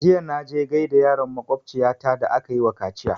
Jiya na je gaida yaron makwabciya ta da aka yi wa kaciya